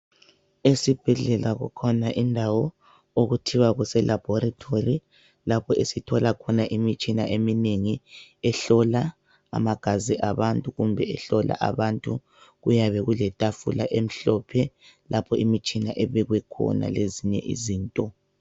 Esibhedlela kukhona indawo ookuthiwa kuselabhorethori lapho esithola khona imitshina eminengi ehlola amagazi abantu kumbe ehlola abantu kuyabe kuletafula emhlophe lapho imitshina ebekwe khona lezinye izinto.